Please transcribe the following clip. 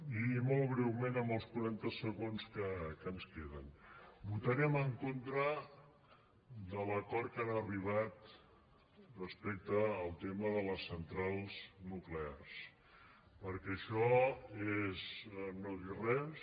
i molt breument en els quaranta segons que ens queden votarem en contra de l’acord que han arribat respecte al tema de les centrals nuclears perquè això és no dir res